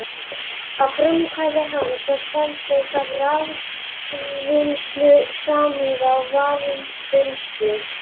Að frumkvæði hans var stefnt að raforkuvinnslu samhliða varmavinnslu.